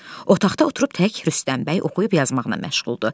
Otaqda oturub tək Rüstəm bəy oxuyub yazmağına məşğuldur.